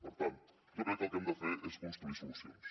per tant jo crec que el que hem de fer és construir solucions